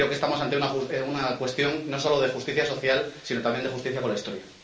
Creo que estamos ante una cuestión no solo de justicia social, sino también de justicia con la historia.